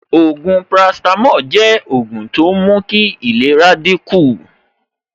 Ògùn paracetamol jẹ́ ògùn tó ń mú kí ìlera dín kù